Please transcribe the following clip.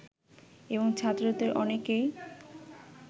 এবং ছাত্রদের অনেকেই